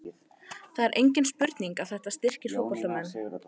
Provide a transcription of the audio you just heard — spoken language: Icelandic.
Það er engin spurning að þetta styrkir fótboltamenn.